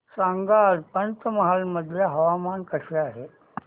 सांगा आज पंचमहाल मध्ये हवामान कसे आहे